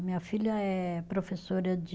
A minha filha é professora de